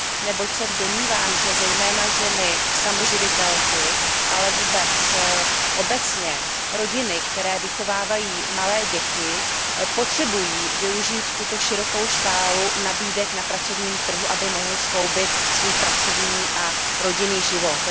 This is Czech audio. neboť se domnívám, že zejména ženy samoživitelky, ale vůbec obecně rodiny, které vychovávají malé děti, potřebují využít tuto širokou škálu nabídek na pracovním trhu, aby mohly skloubit svůj pracovní a rodinný život.